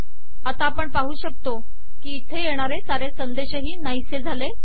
आता आपण पाहू शकतो की इथे येणारे सारे संदेशही नाहीसे झाले